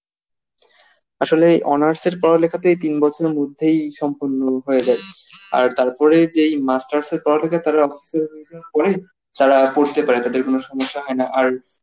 আসলে honors এর পড়ালেখাতে তিন বছরের মধ্যেই সম্পূর্ণ হয়ে যায় আর তারপরে যেই masters এর পড়ালেখা তারা office এর পরেই তারা পড়তে পারে তাদের কোন সমস্যা হয় না আর